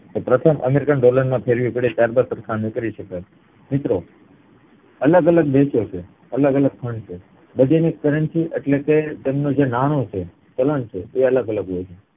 પ્રથમ American dollar માં ફેરવી પડે ત્યાર બાદ સરખામણી કરી શકાય મિત્રો અલગ અલગ દેશો છે અલગ અલગ fund છે બધી ની currency એટલે કે તેમનું નાણું જે છે ચલણ છે તે અલગગલગ